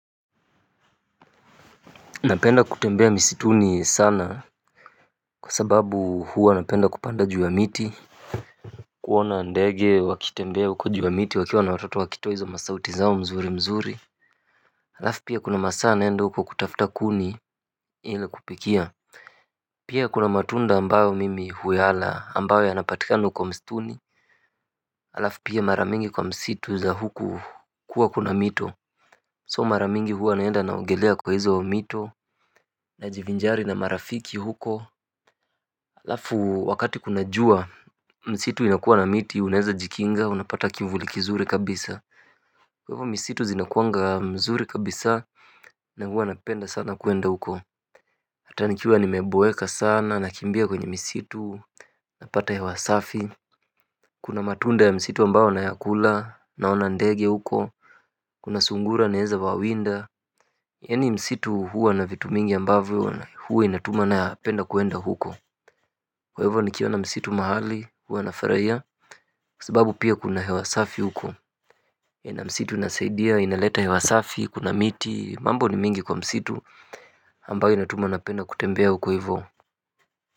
Napenda kutembea misituni sana kwa sababu huwa napenda kupanda juu ya miti kuona ndege wakitembea huko juu ya miti wakiwa na watoto wakitoa hizo masauti zao mzuri mzuri alafu pia kuna masaa naenda huko kutafuta kuni ili kupikia pia kuna matunda ambayo mimi huyala ambayo yanapatikana huko msituni alafu pia mara mingi kwa msitu za huku kuwa kuna mito. So mara mingi huwa naenda naongelea kwa hizo mito. Najivinjari na marafiki huko alafu wakati kuna jua, msitu inakuwa na miti, unezajikinga, unapata kivuli kizuri kabisa. Kwa hivyo misitu zinakuwanga mzuri kabisa, na huwa napenda sana kuenda huko hata nikiwa nimeboeka sana, nakimbia kwenye misitu, napata hewa safi kuna matunda ya msitu ambao nayakula, naona ndege huko, kuna sungura naeza wawinda yaani msitu huwa na vitu mingi ambavyo, huwa inatuma napenda kuenda huko. Kwa hivyo nikiona msitu mahali, huwa nafurahia, kwa sababu pia kuna hewa safi huko na msitu inasaidia, inaleta hewa safi, kuna miti, mambo ni mingi kwa msitu ambayo natuma napenda kutembea huko hivyo.